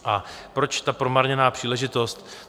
A proč ta promarněná příležitost?